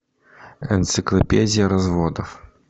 энциклопедия разводов